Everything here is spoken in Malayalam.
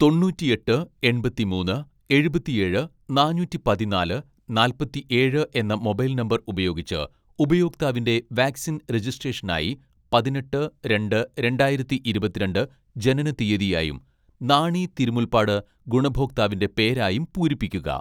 തൊണ്ണൂറ്റിയെട്ട് എൺപത്തിമൂന്ന് എഴുപത്തിയേഴ് നാനൂറ്റി പതിനാല് നാല്പത്തിയേഴ് എന്ന മൊബൈൽ നമ്പർ ഉപയോഗിച്ച് ഉപയോക്താവിന്റെ വാക്‌സിൻ രജിസ്‌ട്രേഷനായി പതിനെട്ട് രണ്ട് രണ്ടായിരത്തി ഇരുപത്തിരണ്ട്‍ ജനനത്തീയതിയായും നാണി തിരുമുൽപ്പാട് ഗുണഭോക്താവിന്റെ പേരായും പൂരിപ്പിക്കുക.